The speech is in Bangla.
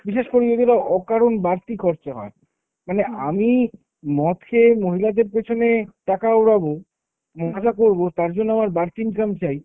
বিশেষ করে যদি ধরো অকারণ বাড়তি খরচা হয়, মানে আমি মদ খেয়ে মহিলাদের পেছনে টাকা উড়াবো, মজা করবো তার জন্য আমার বাড়তি income চাই